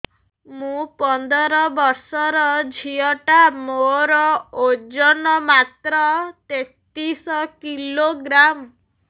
ମୁ ପନ୍ଦର ବର୍ଷ ର ଝିଅ ଟା ମୋର ଓଜନ ମାତ୍ର ତେତିଶ କିଲୋଗ୍ରାମ